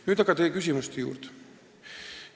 Nüüd aga teie küsimuste juurde.